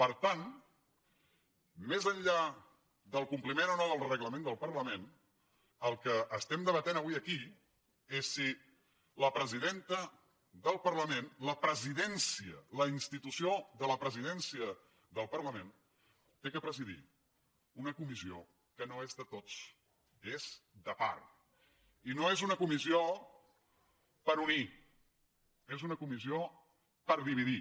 per tant més enllà del compliment o no del regla·ment del parlament el que estem debatent avui aquí és si la presidenta del parlament la presidència la ins·titució de la presidència del parlament ha de presidir una comissió que no és de tots és de part i no és una comissió per unir és una comissió per dividir